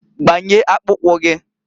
Gbanye akpụkwụ gịǃ